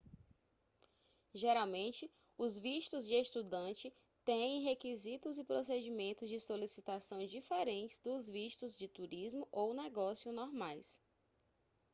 geralmente os vistos de estudante têm requisitos e procedimentos de solicitação diferentes dos vistos de turismo ou negócio normais